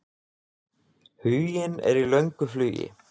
Huginn er í löngu flugi.